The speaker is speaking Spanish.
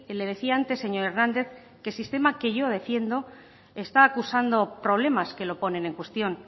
le decía antes señor hernández que sistema que yo defiendo está acusando problemas que lo ponen en cuestión